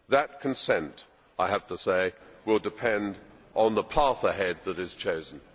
That consent, I have to say, will depend on the path ahead that is chosen.